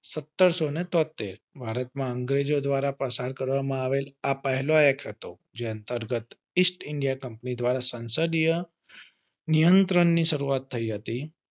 સત્તરસો ને તોત્તેર ભારત માં અંગ્રેજો દ્વારા પસાર કરવામાં આવેલ આ એક પહેલો act હતો જે અંતર્ગત ઇસ્ટ ઇન્ડિયા કંપની દ્વારા સંસદીય નિયંત્રણ ની શરૂઆત થઇ હતી.